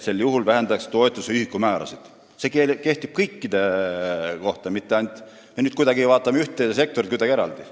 " See põhimõte kehtib kõikide sektorite kohta, mitte nii, et me vaatame ühte sektorit kuidagi eraldi.